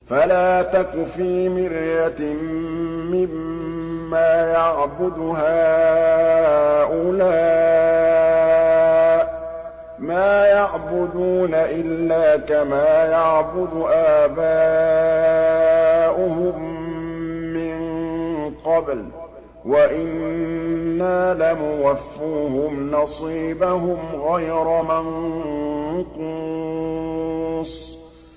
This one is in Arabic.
فَلَا تَكُ فِي مِرْيَةٍ مِّمَّا يَعْبُدُ هَٰؤُلَاءِ ۚ مَا يَعْبُدُونَ إِلَّا كَمَا يَعْبُدُ آبَاؤُهُم مِّن قَبْلُ ۚ وَإِنَّا لَمُوَفُّوهُمْ نَصِيبَهُمْ غَيْرَ مَنقُوصٍ